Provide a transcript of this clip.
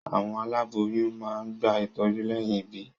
Àwọn aláboyún máa ń gba ìtọ́jú lẹ́yìn ìbí.